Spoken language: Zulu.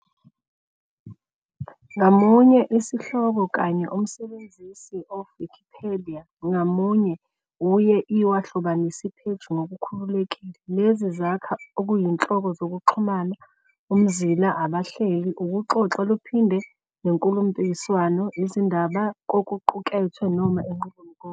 Ngamunye sihloko kanye umsebenzisi of Wikipedia ngamunye uye i wahlobanisa page "Ngokukhululekile". Lezi zakha oyinhloko zokuxhumana umzila abahleli ukuxoxa luphinde nenkhulumomphikiswano izindaba kokuqukethwe noma inqubomgomo.